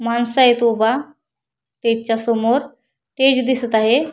मानस आहेत उभा स्टेज च्या समोर स्टेज दिसत आहे.